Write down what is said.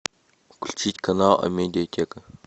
включить канал амедиатека